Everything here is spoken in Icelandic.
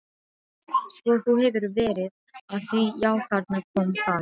Svo þú hefur verið að því já, þarna kom það.